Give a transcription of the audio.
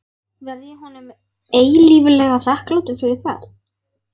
Verð ég honum eilíflega þakklátur fyrir það.